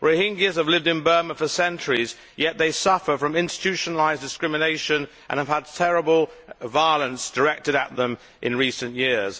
Rohingyas have lived in Burma for centuries, yet they suffer from institutionalised discrimination and have had terrible violence directed at them in recent years.